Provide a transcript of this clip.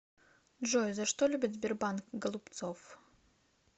джой за что любит сбербанк голубцов